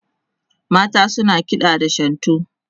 mata suna kiɗa da shantu